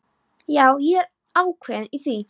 Já, ég er ákveðinn í því.